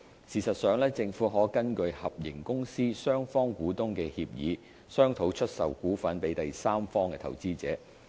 事實上，政府可根據合營公司雙方股東的協議，商討出售股份予第三方投資者。